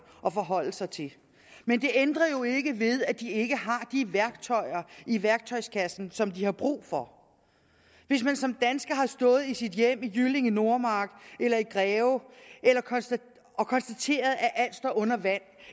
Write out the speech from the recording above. at forholde sig til men det ændrer jo ikke ved at de ikke har de værktøjer i værktøjskassen som de har brug for hvis man som dansker har stået i sit hjem i jyllinge nordmark eller i greve og konstateret at alt står under vand